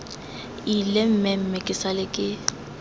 ile mmemme ke sale ke